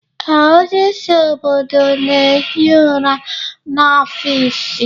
Ee, onyeisi obodo na-ehi ụra n'ọfịs